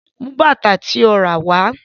Mú bàtà tí o ràwá.